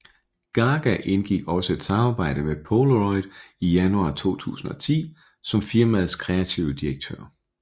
Gaga indgik også et samarbejde med Polaroid i januar 2010 som firmaets kreative direktør